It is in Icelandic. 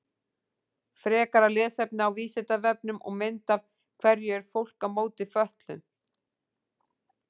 Frekara lesefni á Vísindavefnum og mynd Af hverju er fólk á móti fötluðum?